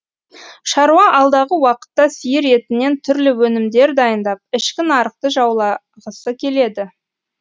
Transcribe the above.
шаруа алдағы уақытта сиыр етінен түрлі өнімдер дайындап ішкі нарықты жаулағысы келеді